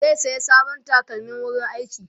zai saya sabon takalmin wurin aiki